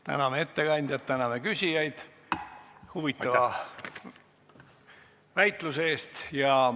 Täname ettekandjat ja küsijaid huvitava väitluse eest.